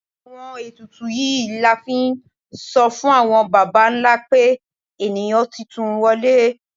Àwọn etùtù yíí la n fí n so fun awọn bàbá ńlá pe eníyan titun wọle